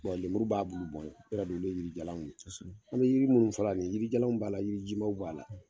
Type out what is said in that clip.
lemuru b'a bullu bɔn ye, olu yɛrɛ don, olu ye yiri jalanw ye; ; an bɛ yiri munnun fɔla nin ye yirijalan b' la yirijimaw b'a la.